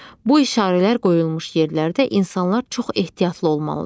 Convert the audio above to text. Bu işarələr qoyulmuş yerlərdə insanlar çox ehtiyatlı olmalıdır.